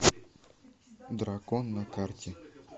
дракон на карте